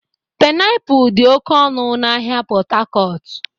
Pịnapụl dị oke ọnụ n'ahịa Pot Tarcot.